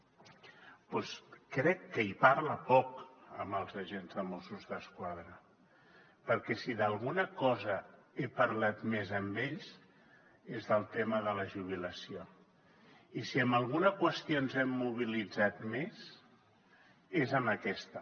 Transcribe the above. doncs crec que hi parla poc amb els agents de mossos d’esquadra perquè si d’alguna cosa he parlat més amb ells és del tema de la jubilació i si amb alguna qüestió ens hem mobilitzat més és amb aquesta